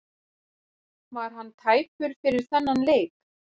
Var hann tæpur fyrir þennan leik?